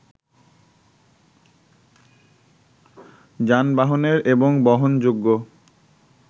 যানবাহনের এবং বহনযোগ্য